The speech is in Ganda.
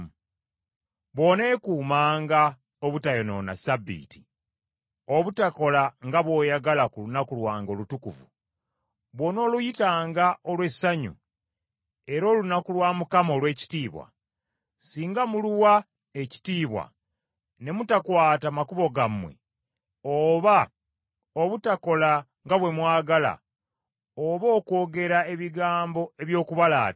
“Bw’oneekuumanga obutayonoona Ssabbiiti, obutakola nga bw’oyagala ku lunaku lwange olutukuvu, bw’onooluyitanga olw’essanyu era olunaku lwa Mukama olw’ekitiibwa, singa muluwa ekitiibwa ne mutakwata makubo gammwe oba obutakola nga bwe mwagala oba okwogera ebigambo eby’okubalaata,